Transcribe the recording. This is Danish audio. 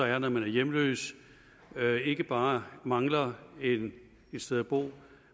er i når man er hjemløs ikke bare mangler et sted at bo